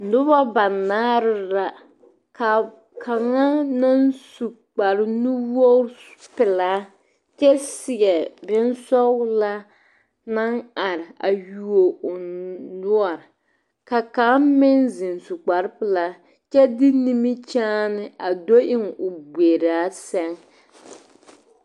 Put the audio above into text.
Nobo banaare la ka kaŋa naŋ su kparnuwoge pilaa kyɛ seɛ big sɔglaa naŋ are a yuo o noɔr ka kaŋa meŋ ziŋ zu kpare pilaa kyɛ de nimikyaan a do eŋ o gberaa sɛŋ.